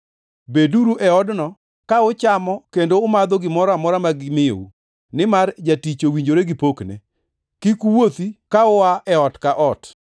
Beduru e odno, ka uchamo kendo umadho gimoro amora ma gimiyou, nimar jatich owinjore gi pokne. Kik uwuothi ka ua e ot ka ot.